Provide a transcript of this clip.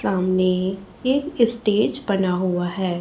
सामने एक स्टेज बना हुआ है।